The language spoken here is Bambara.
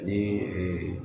Ni